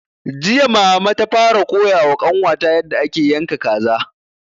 Jiya mama ta fara koya wa ƙanwa ta yarda ake yanka kaza